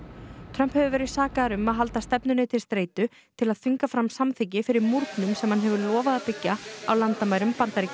Trump hefur verið sakaður um að halda stefnunni til streitu til að þvinga fram samþykki fyrir múrnum sem hann hefur lofað að byggja á landamærum Bandaríkjanna